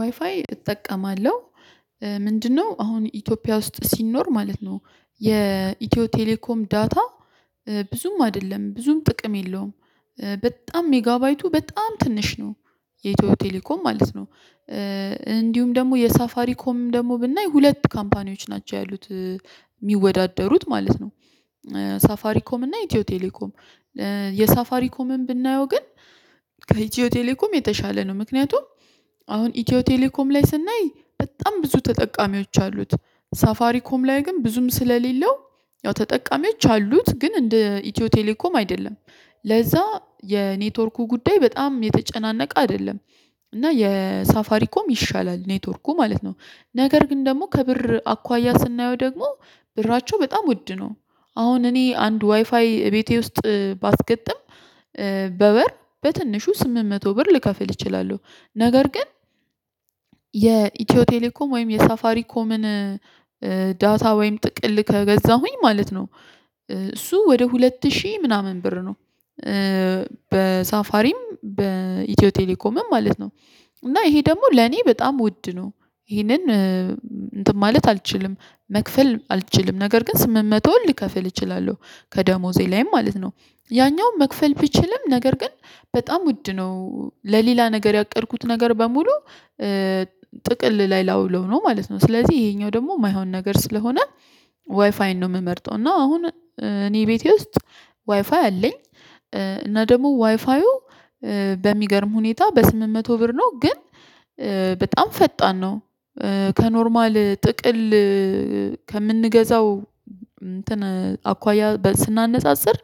ዋይፋይ እጠቀማለሁ። ምንድነው አሁን ኢትዮጵያ ውስጥ ሲኖር ማለት ነው። የኢትዮ ቴሌኮም ዳታ። ብዙም አይደለም ብዙም ጥቅም የለውም። በጣም ሜጋባይቱ በጣም ትንሽ ነው። የኢትዮ ቴሌኮም ማለት ነው። እንዲሁም ደግሞ የሳፋሪ ኮም ደግሞ ብናይ ሁለት ካምፓኒዎች ናቸው ያሉት። ሚወዳደሩት ማለት ነው። ሳፋሪ ኮም እና ኢትዮ ቴሌኮም። የሳፋሪ ኮምም ብናየው ግን ከኢትዮ ቴሌኮም የተሻለ ነው። ምክንያቱም አሁን ኢትዮ ቴሌኮም ላይ ስናይ በጣም ብዙ ተጠቃሚዎች አሉት ሳፋሪ ኮም ላይ ግን ብዙም ስለሌለው ያው ተጠቃሚዎች አሉት ግን እንደ ኢትዮ ቴሌኮም አይደለም። ለዛ የኔትወርኩ ጉዳይ በጣም የተጨናነቀ አደለም። እና የሳፋሪኮም ይሻላል ኔትወርኩ ማለት ነው። ነገር ግን ደግሞ ከብር አኳያ ስናየው ደግሞ ብራቸው በጣም ውድ ነው። አሁን እኔ አንድ ዋይፋይ እቤቴ ውስጥ ባስገጥም በወር በትንሹ ስምንት መቶ ብር ልከፍል እችላለሁ። ነገር ግን የኢትዮ ቴሌኮም ወይም የሳፋሪኮምን ዳታ ወይም ጥቅል ከገዛሁኝ ማለት ነው። እሱ ወደ ሁለት ሺህ ምናምን ብር ነው። በሳፋሪም በኢትዮ ቴሌኮምም ማለት ነው። እና ይሄ ደግሞ ለኔ በጣም ውድ ነው። ይሄንን እንትን ማለት አልችልም መክፈል አልችልም ነገር ግን ስምንት መቶ ሊከፍል እችላለሁ ከደሞዜ ላይም ማለት ነው። ያኛውን መክፈል ቢችልም ነገር ግን በጣም ውድ ነው ለሌላ ነገር ያቀድኩት ነገር በሙሉ ጥቅል ላይ ላውለው ነው ማለት ነው። ስለዚህ ይሄኛው ደግሞ የማይሆን ነገር ስለሆነ ዋይፋይን ነው ምመርጠው እና አሁን እኔ ቤቴ ውስጥ ዋይፋይ አለኝ። እና ደግሞ ዋይፋዩ በሚገርም ሁኔታ በስምንት መቶ ብር ነው ግን በጣም ፈጣን ነው። ከኖርማል ጥቅል ከምንገዛው አኳያ ስናነጻጽር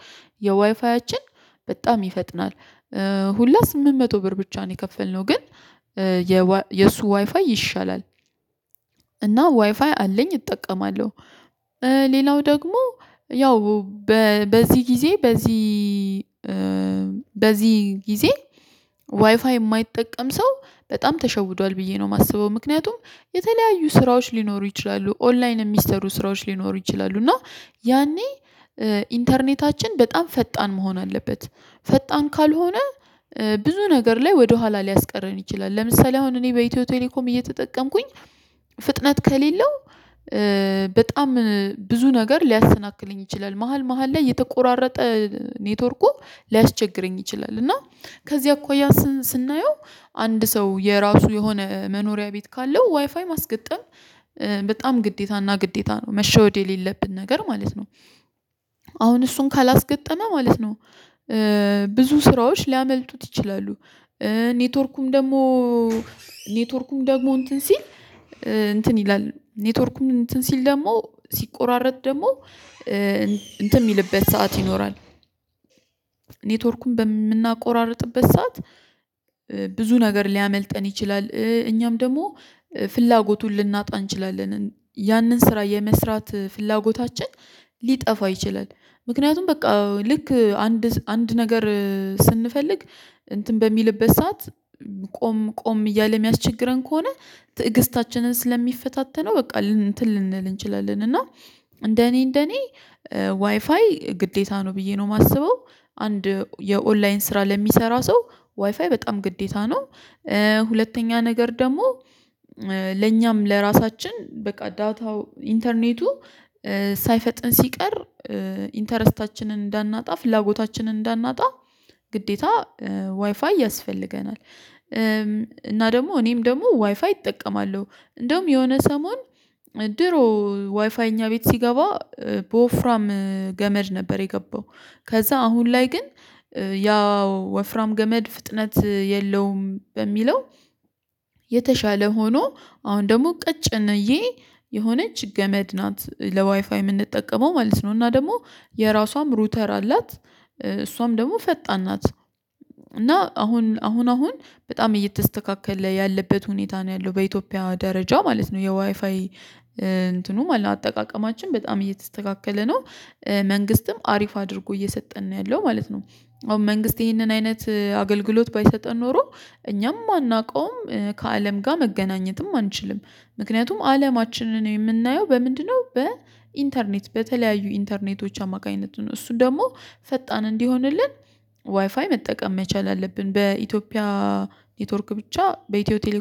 የዋይፋያችን በጣም ይፈጥናል። ሁላ ስምንት መቶ ብር ብቻ ነው የከፈልነው ግን የእሱ ዋይፋይ ይሻላል። እና ዋይፋይ አለኝ እጠቀማለሁ። ሌላው ደግሞ ያው በዚህ ጊዜ በዚህ በዚህ ጊዜ ዋይፋይ የማይጠቀም ሰው በጣም ተሸውዷል ብዬ ነው ማስበው ምክንያቱም የተለያዩ ስራዎች ሊኖሩ ይችላሉ ኦንላይን የሚሰሩ ስራዎች ሊኖሩ ይችላሉ እና ያኔ ኢንተርኔታችን በጣም ፈጣን መሆን አለበት። ፈጣን ካልሆነ ብዙ ነገር ላይ ወደኋላ ሊያስቀረን ይችላል። ለምሳሌ አሁን እኔ በኢትዮ ቴሌኮም እየተጠቀምኩኝ ፍጥነት ከሌለው በጣም ብዙ ነገር ሊያስናክለኝ ይችላል መሃል መሃል ላይ የተቆራረጠ ኔትወርኩ ሊያስቸግረኝ ይችላል። እና ከዚያ እኳያ ስናየው አንድ ሰው የራሱ የሆነ መኖሪያ ቤት ካለው ዋይፋይ ማስገጠም በጣም ግዴታና ግዴታ ነው መሸወድ የሌለብን ነገር ማለት ነው። አሁን እሱን ካላስገጠመ ማለት ነው ብዙ ስራዎች ሊያመልጡት ይችላሉ። ኔትወርኩም ደግሞ ኔትወርኩም ደግሞ እንትን ሲል እንትን ይላል ኔትወርኩም እንትን ሲል ደግሞ ሲቆራረጥ ደግሞ እንትን ሚልበት ሰዓት ይኖራል። ኔትወርኩን በምናቆራርጥበት ሰዓት ብዙ ነገር ሊያመልጠን ይችላል እኛም ደግሞ ፍላጎቱን ልናጣ እንችላለን ያንን ስራ የመስራት ፍላጎታችን ሊጠፋ ይችላል። ምክንያቱም በቃ ልክ አንድ አንድ ነገር ስንፈልግ እንትን በሚልበት ሰዓት ቆም ቆም እያለ ሚያስቸግረን ከሆነ ትዕግስታችንን ስለሚፈታተነው በቃ እንትን ልንል እንችላለን እና እንደ እኔ እንደ እኔ ዋይፋይ ግዴታ ነው ብዬ ነው የማስበው። አንድ የኦንላይን ስራ ለሚሰራ ሰው ዋይፋይ በጣም ግዴታ ነው። ሁለተኛ ነገር ደግሞ ለኛም ለራሳችን በቃ ዳታው ኢንተርኔቱ ሳይፈጥን ሲቀር ኢንተረስታችንን እንዳናጣ ፍላጎታችንን እንዳናጣ ግዴታ ዋይፋይ ያስፈልገናል። እና ደግሞ እኔም ደግሞ ዋይፋይ እጠቀማለሁ። እንደውም የሆነ ሰሞን ድሮ ዋይፋይ እኛ ቤት ሲገባ በወፍራም ገመድ ነበር የገባው። ከዛ አሁን ላይ ግን ያው ወፍራም ገመድ ፍጥነት የለውም በሚለው የተሻለ ሆኖ አሁን ደግሞ ቀጭንዬ የሆነች ገመድ ናት ለዋይፋይ ምንጠቀመው ማለት ነው። እና ደግሞ የራሷም ሩተር አላት። እሷም ደግሞ ፈጣን ናት። እና አሁን አሁን አሁን በጣም እየተስተካከለ ያለበት ሁኔታ ነው ያለው በኢትዮጵያ ደረጃ ማለት ነው የዋይፋይ እንትኑ ማለት አጠቃቀማችን በጣም እየተስተካከለ ነው። መንግስትም አሪፍ አድርጎ እየሰጠን ነው ያለው ማለት ነው። አሁን መንግስት ይህንን አይነት አገልግሎት ባይሰጠን ኖሮ እኛም ማናውቀውም ከአለም ጋር መገናኘትም አንችልም። ምክንያቱም አለማችንን የምናየው በምንድን ነው? በኢንተርኔት በተለያዩ ኢንተርኔቶች አማካኝነት ነው። እሱ ደግሞ ፈጣን እንዲሆንልን ዋይፋይ መጠቀም መቻል አለብን። በኢትዮጵያ ኔትወርክ ብቻ በኢትዮ ቴሌኮም